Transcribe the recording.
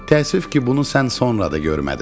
Təəssüf ki, bunu sən sonra da görmədin.